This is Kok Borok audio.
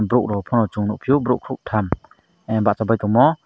borok rok pono chong nogpio borok koktam ah basapai tongmo.